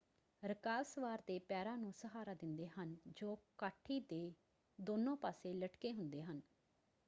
ਰਕਾਬ ਸਵਾਰ ਦੇ ਪੈਰਾਂ ਨੂੰ ਸਹਾਰਾ ਦਿੰਦੇ ਹਨ ਜੋ ਕਾਠੀ ਦੇ ਦੋਨੋਂ ਪਾਸੇ ਲਟਕੇ ਹੁੰਦੇ ਹਨ।